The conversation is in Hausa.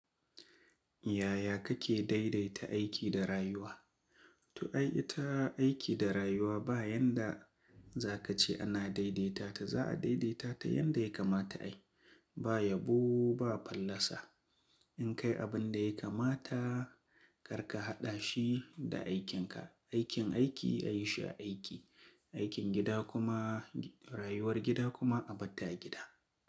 Yaya kake daidaita aiki da rayuwa? Tu ai ita aiki da rayuwa ba yanda za ka ce ana daidaitata, za a daidaitata yanda ya kamata ai. Ba yabo ba fallasa. In kai abin da ya kamata kar ka haɗa shi da aikinka. Aikin aiki, a yi shi aiki. Aikin gida kuma, rayuwar gida kuma a bar ta a gida.